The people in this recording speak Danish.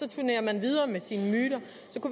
turnerer man videre med sine myter